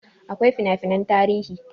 Akwai fina finan tarihi